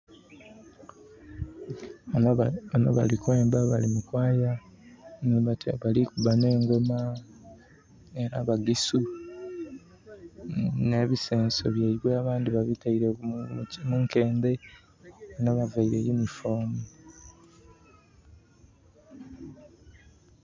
Banho bali kwemba bali mu kwaaya bali kuba nh'engoma, abagisu nh'ebisenso byaibwe abandhi babitaile munkendhe banho bavaile yunifoomu.